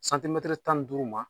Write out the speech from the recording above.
tan ni duuru ma.